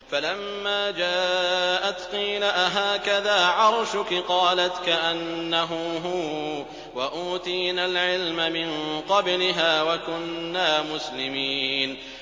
فَلَمَّا جَاءَتْ قِيلَ أَهَٰكَذَا عَرْشُكِ ۖ قَالَتْ كَأَنَّهُ هُوَ ۚ وَأُوتِينَا الْعِلْمَ مِن قَبْلِهَا وَكُنَّا مُسْلِمِينَ